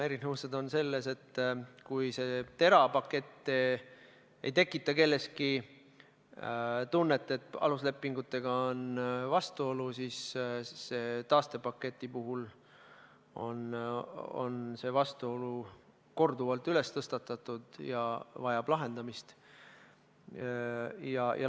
Erinevused on selles, et kui TERA pakett ei tekita kelleski tunnet, et on vastuolu aluslepinguga, siis taastepaketi puhul on vastuoluteema korduvalt tõstatatud ja see vajab lahendamist.